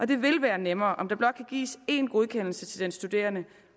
det vil være nemmere om der blot kan gives én godkendelse til den studerende